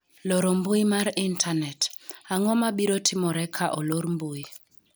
loro mbui mar intanet:ang'o ma biro timore ka olor mbui ?